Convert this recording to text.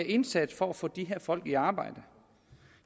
indsats for at få de her folk i arbejde